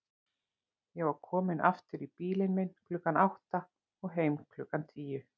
Ég var kominn aftur í bílinn minn klukkan átta og heim klukkan tíu.